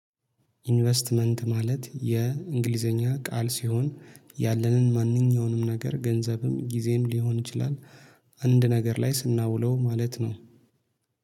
ኢንቨስትመንት ማለት የእንግሊዘኛ ቃል ሲሆን ያለንን ማንኛውንም ነገር ገንዘብም ጊዜም ሊሆን ይችላል አንድ ነገር ላይ ስናውለው ማለት ነው